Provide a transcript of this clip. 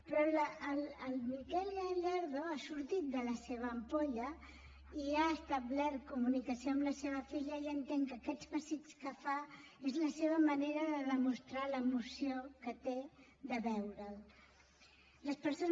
però el miguel gallardo ha sortit de la seva ampolla i ha establert comunicació amb la seva filla i entenc que aquests pessics que fa és la seva manera de demostrar l’emoció que té de veure’l